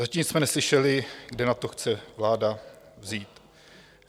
Zatím jsme neslyšeli, kde na to chce vláda vzít.